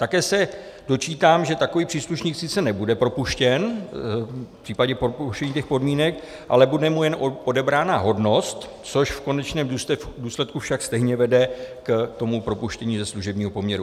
Také se dočítám, že takový příslušník sice nebude propuštěn v případě porušení těch podmínek, ale bude mu jen odebrána hodnost, což v konečném důsledku však stejně vede k tomu propuštění ze služebního poměru.